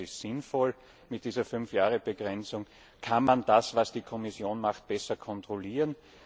Ich glaube, das ist sinnvoll. Mit dieser Fünf Jahres Frist kann man das, was die Kommission macht, besser kontrollieren.